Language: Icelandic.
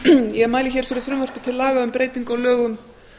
ég mæli hér fyrir frumvarpi til laga um breytingu á lögum